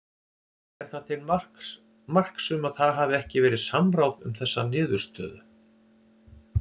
Er það til marks um að það hafi ekki verið samráð um þessa niðurstöðum?